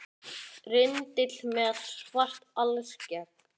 Rindill með svart alskegg